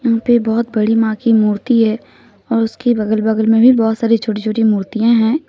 यहां पे बहोत बड़ी मां की मूर्ति है और उसके बगल बगल में भी बहोत सारी छोटी छोटी मूर्तियां हैं।